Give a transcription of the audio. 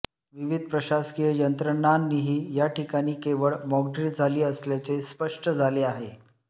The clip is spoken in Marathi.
विविध प्रशासकीय यंत्रणानीही याठिकाणी केवळ मॉकड्रील झाली असल्याचे स्पष्ट झाले आहे